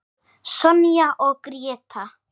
Sonja og Gréta.